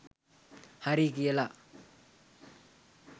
හරි කියලා